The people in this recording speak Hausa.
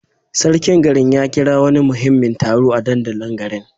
Sarkin garin ya kira wani muhimmin taro a dandalin garin.